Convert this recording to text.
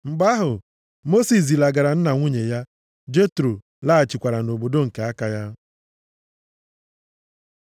Mgbe ahụ, Mosis zilagara nna nwunye ya. Jetro laghachikwara nʼobodo nke aka ya.